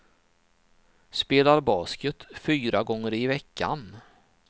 Spelar basket fyra gånger i veckan.